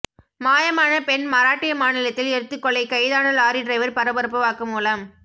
மாயமான பெண் மராட்டிய மாநிலத்தில் எரித்துக்கொலை கைதான லாரி டிரைவர் பரபரப்பு வாக்குமூலம்